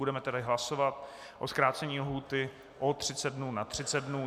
Budeme tedy hlasovat o zkrácení lhůty o 30 dnů na 30 dnů.